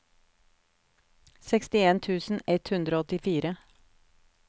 sekstien tusen ett hundre og åttifire